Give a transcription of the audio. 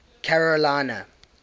carolina